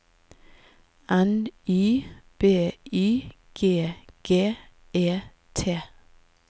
N Y B Y G G E T